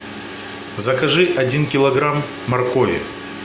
закажи один килограмм моркови